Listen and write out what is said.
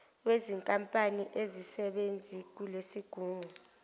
wezinkampani azisebenzi kulesigungu